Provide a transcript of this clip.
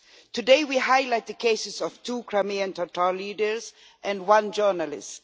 Today we highlight the cases of two Crimean Tatar leaders and one journalist.